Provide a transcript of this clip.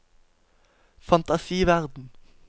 fantasiverden